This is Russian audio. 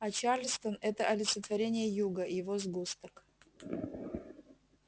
а чарльстон это олицетворение юга его сгусток